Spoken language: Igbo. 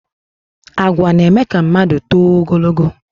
Àgwà na- eme ka mmadụ tóó ogologó